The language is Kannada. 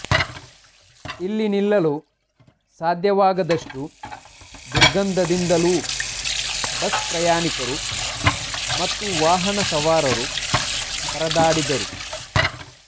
ಇಲ್ಲಿ ನಿಲ್ಲಲು ಸಾಧ್ಯವಾಗದಷ್ಟು ದುರ್ಗಂಧದಿಂದಲೂ ಬಸ್ ಪ್ರಯಾಣಿಕರು ಮತ್ತು ವಾಹನ ಸವಾರರು ಪರದಾಡಿದರು